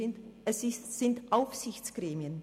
Es sind Aufsichtsgremien.